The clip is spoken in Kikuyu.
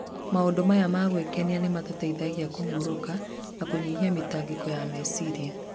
Maũndũ maya ma gwĩkenia nĩ mamũteithagia kũhurũka na kũnyihia mĩtangĩko ya meciria.